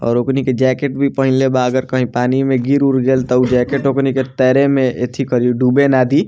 और ओकनि के जैकेट भी पहिनले बा अगर कहीं पानी में गिर-उर गइल त तब जैकेट ओकनि के तैरे में एथी करी ड़ुबे न दी।